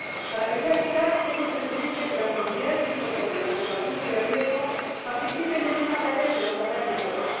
Para que sea eficaz, es imprescindible que las comunidades que incorporen las poblaciones de riesgo participen en una tarea que nos atañe a todas.